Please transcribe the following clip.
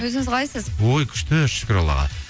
өзіңіз қалайсыз ой күшті шүкір аллаға